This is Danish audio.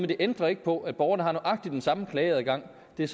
det ændrer ikke på at borgerne har nøjagtig den samme klageadgang det er